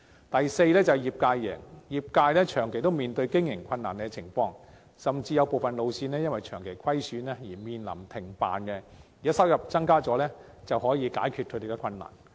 第四，業界贏，業界長期面對經營困難，甚至有部分路線因為長期虧損而面臨停辦，如果收入增加，便可望解決他們的困難。